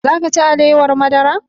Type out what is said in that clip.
Za ka ci alewar madara?